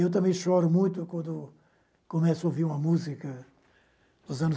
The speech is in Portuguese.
Eu também choro muito quando começo a ouvir uma música dos anos